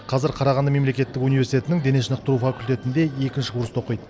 қазір қарағанды мемлекеттік университетінің дене шынықтыру факультетінде екінші курста оқиды